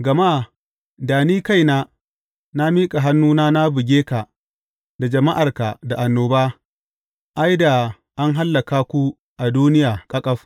Gama da ni kaina na miƙa hannuna na buge ka da jama’arka da annoba, ai, da an hallaka ku a duniya ƙaƙaf.